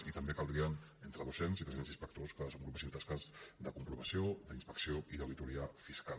i també caldrien entre doscents i tres cents inspectors que desenvolupessin tasques de comprovació d’inspecció i d’auditoria fiscal